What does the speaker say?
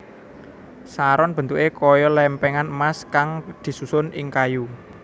Saron bentuké kaya lèmpèngan emas kang disusun ing kayu